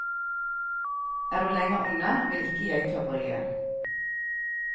Er du lenger unna, vil ikke jeg ta bryet.